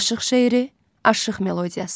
Aşıq şeiri, aşıq melodiyası.